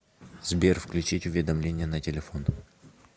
сбер включить уведомления на телефон